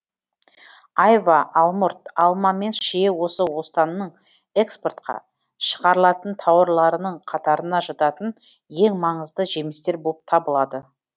айва алмұрт алма мен шие осы останның экспортқа шығарылатын тауарларының қатарына жататын ең маңызды жемістер болып табылады